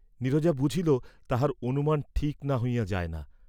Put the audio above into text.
নীরজা বুঝিল, তাহার অনুমান ঠিক না হইয়া যায় না।